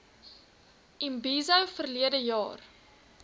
imbizo verlede jaar